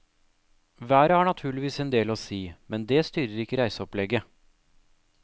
Været har naturligvis en del å si, men det styrer ikke reiseopplegget.